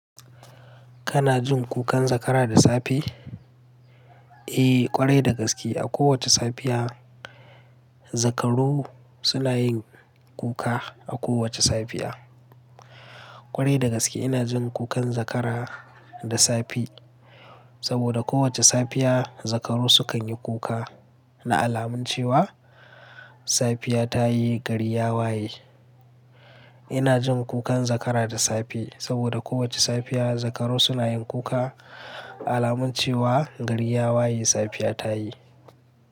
Kana jin kukan zakara da safe? Eh, ƙwarai da gaske. A kowace safiya, zakaro suna yin kuka. A kowace safiya, ƙwarai da gaske ina jin kukan zakara da safe. Saboda kowace safiya zakaro sukan yi kuka na alamun cewa safiya ta yi, gari ya waye. Ina jin kukan zakara da safe saboda kowace safiya zakaro suna yin kuka alamun cewa gari ya waye, safiya ta yi.